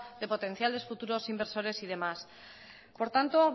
de potenciales futuros inversores y demás por tanto